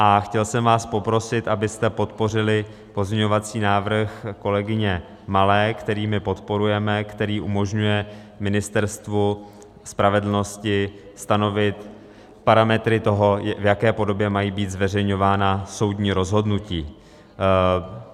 A chtěl jsem vás poprosit, abyste podpořili pozměňovací návrh kolegyně Malé, který my podporujeme, který umožňuje Ministerstvu spravedlnosti stanovit parametry toho, v jaké podobě mají být zveřejňována soudní rozhodnutí.